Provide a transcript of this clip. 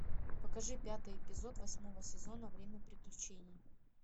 покажи пятый эпизод восьмого сезона время приключений